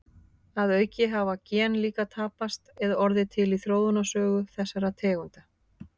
Að auki hafa gen líka tapast eða orðið til í þróunarsögu þessara tegunda.